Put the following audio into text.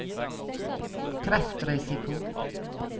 kreftrisiko